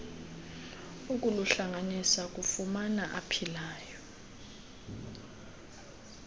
ukuluhlanganisa kumafa aphilayo